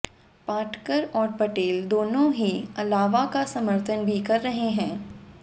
पाटकर और पटेल दोनों ही अलावा का समर्थन भी कर रहे हैं